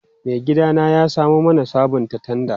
Maigidana ya samo mana sabon tanda.